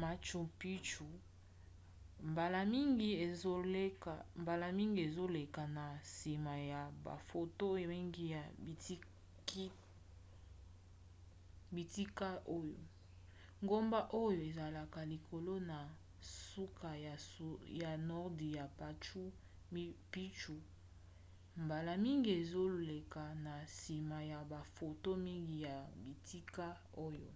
machu picchu mbala mingi ezoleka na nsima ya bafoto mingi ya bitika oyo